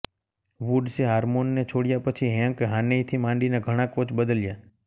વુડ્સે હાર્મોનને છોડ્યા પછી હૅન્ક હાનેયથી માંડીને ઘણા કોચ બદલ્યા